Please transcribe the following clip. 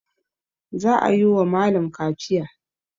Za a yi wa malam kaciya.